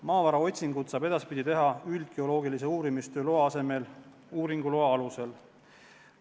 Maavaraotsinguid saab edaspidi teha üldgeoloogilise uurimistöö loa asemel uuringuloa alusel.